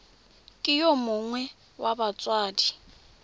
ke yo mongwe wa batsadi